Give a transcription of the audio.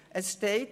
Es steht: